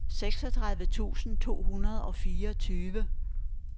seksogtredive tusind to hundrede og fireogtyve